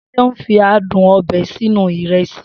Seun fi adùn ọbẹ̀ sínú ìrẹsì.